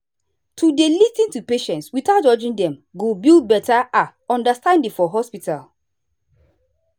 to dey lis ten to patients without judging dem go build better ah understanding for hospital.